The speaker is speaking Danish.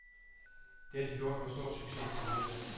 Det har de gjort med stor succes tidligere.